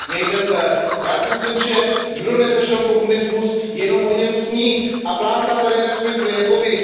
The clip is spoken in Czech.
Smějte se, já si myslím, že kdo nezažil komunismus, jenom o něm sní a plácá tady nesmysly jako Vy.